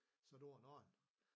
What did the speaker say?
Så tog han og en